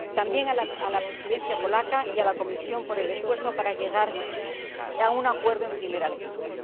también a la Presidencia polaca y a la Comisión por el esfuerzo para llegar a un acuerdo en primera lectura.